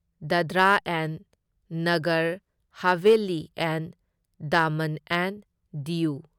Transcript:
Dadra and Nagar Haveli and Daman and Diu